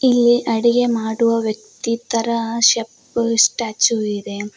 ಇಲ್ಲಿ ಅಡಿಗೆ ಮಾಡುವ ವ್ಯಕ್ತಿ ತರ ಶೆಫ್ ಸ್ಟ್ಯಾಚು ಇದೆ.